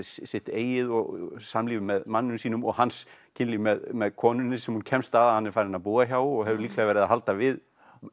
sitt eigið og samlíf með manninum sínum og hans kynlíf með með konunni sem hún kemst að að hann er farinn að búa hjá og hefur líklega verið að halda við